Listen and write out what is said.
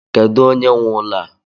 Kedu onye nwe ụlọ a?